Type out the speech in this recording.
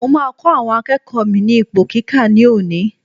Mo máa kọ́ àwọn akẹ́kọ̀ọ́ mi ní ipò kíkà ní òní.